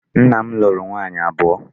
Nna m lụrụ nwaanyị abụọ.